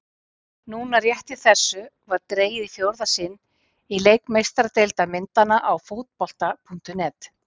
Nú rétt í þessu var dregið í fjórða sinn í leik Meistaradeildar myndanna á Fótbolta.net.